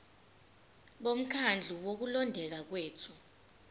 bomkhandlu wokulondeka kwethu